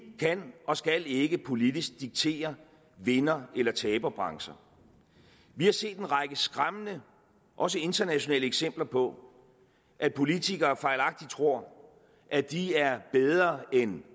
kan og skal ikke politisk diktere vinder eller taberbrancher vi har set en række skræmmende også internationalt eksempler på at politikere fejlagtigt tror at de er bedre end